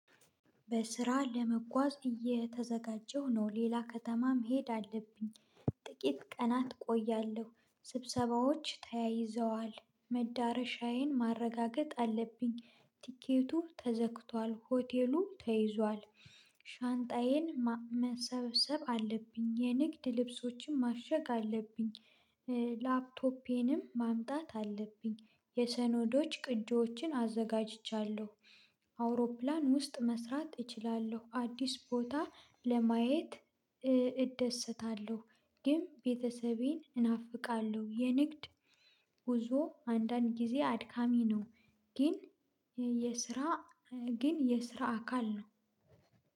በስራ ለመጓዝ እየተዘጋጀሁ ነው ሌላ ከተማም ሄድ አለብኝ። ጥቂት ቀናት እቆያለሁ ስብሰባዎች ተያይዘዋል መዳረሻዬን ማረጋገጥ አለብኝ ቲኬቱ ተዘግቷል ሆቴሉ ተይዟል። ሻንጣዬን መሰብሰብ አለብኝ የንግድ ልብሶችን ማሸግ አለብኝ። ላፕቶፔንም ማምጣት አለብኝ የሰነዶች ቅጂዎችን አዘጋጅቻለሁ። አውሮፕላን ውስጥ መስራት እችላለሁ አዲስ ቦታ ለማየት እደሰታለሁ። ግን ቤተሰቤን እናፍቃለሁ። የንግድ ጉዞ አንዳንድ ጊዜ አድካሚ ነው። ግን የስራ ግን የስራ አካል ነው።